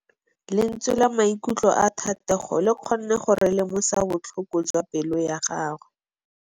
Lentswe la maikutlo a Thategô le kgonne gore re lemosa botlhoko jwa pelô ya gagwe.